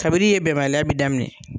Ka bi ni yen bɛnbali bi daminɛ